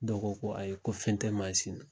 Dɔw ko ko ayi ko fɛn tɛ mansin na